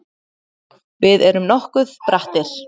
Við erum nokkuð brattir